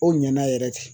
O ɲana yɛrɛ de